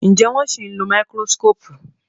Njé wón sìn ló Máíkírósíkópù?